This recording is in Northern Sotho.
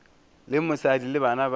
le mosadi le bana ba